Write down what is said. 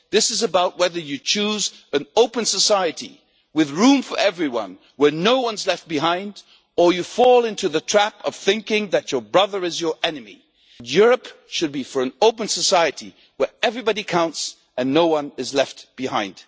This is about whether you choose an open society with room for everyone, where no one is left behind, or you fall into the trap of thinking that your brother is your enemy. Europe should be for an open society where everybody counts and no one is left behind.